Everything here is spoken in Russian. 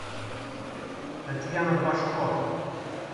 татьяна башко